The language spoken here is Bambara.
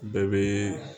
Bɛɛ bɛ